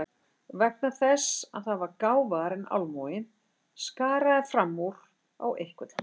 Vegna þess að það var gáfaðra en almúginn, skaraði fram úr á einhvern hátt.